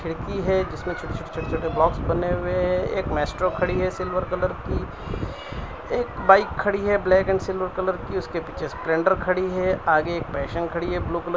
खिड़की है जिसमें छोटे छोटे छोटे छोटे ब्लॉक्स बने हुए हैं एक माएस्ट्रो खड़ी है सिल्वर कलर की एक बाइक खड़ी है ब्लैक एंड सिल्वर कलर की उसके पीछे स्प्लेंडर खड़ी है आगे एक पैशन खड़ी है ब्लू कलर --